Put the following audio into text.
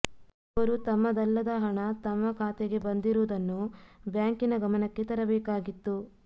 ಅವರು ತಮ್ಮದಲ್ಲದ ಹಣ ತಮ್ಮ ಖಾತೆಗೆ ಬಂದಿರುವುದನ್ನು ಬ್ಯಾಂಕಿನ ಗಮನಕ್ಕೆ ತರಬೇಕಾಗಿತ್ತು